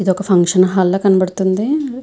ఇది ఒక function hall లాగా కనపడతుంది.